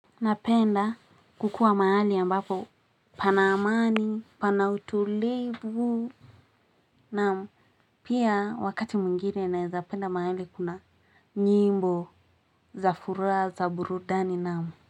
Napenda kukuwa mahali ambapo panaamani, panautulivu. Naam, pia wakati mwingine naezapenda mahali kuna nyimbo za furaha za burudani naam.